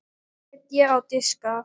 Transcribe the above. Setjið á diska.